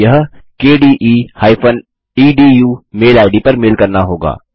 आपको यह kde edu mail ID पर मेल करना होगा